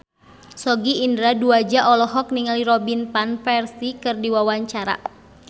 Sogi Indra Duaja olohok ningali Robin Van Persie keur diwawancara